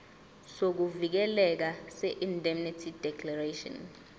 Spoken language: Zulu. sokuvikeleka seindemnity declaration